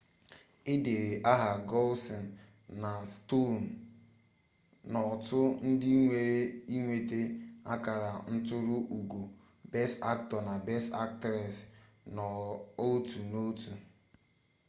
e deturu aha gosling na stone n'otu ndị nwere ịnweta akara nturu ugo best aktọ na best aktres n'otu n'otu